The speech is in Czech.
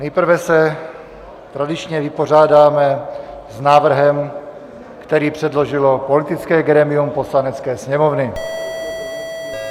Nejprve se tradičně vypořádáme s návrhem, který předložilo politické grémium Poslanecké sněmovny.